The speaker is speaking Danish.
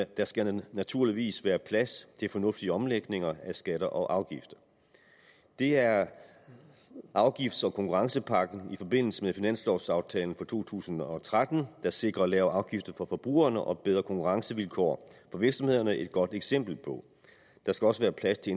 der skal naturligvis være plads til fornuftige omlægninger af skatter og afgifter det er afgifts og konkurrencepakken i forbindelse med finanslovaftalen for to tusind og tretten der sikrer lavere afgifter for forbrugerne og bedre konkurrencevilkår for virksomhederne et godt eksempel på der skal også være plads til